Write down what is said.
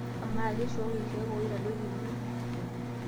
Amaa, keishooki ilkeek oitadoyio emion?